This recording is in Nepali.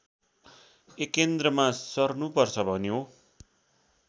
एकेन्द्रमा सर्नुपर्छ भन्यो